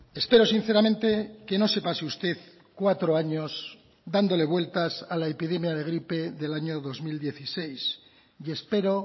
espero sinceramente que no se pase usted cuatro años dándole vueltas a la epidemia de gripe del año dos mil dieciséis y espero